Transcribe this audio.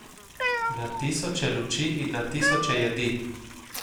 Na tisoče luči in na tisoče jedi.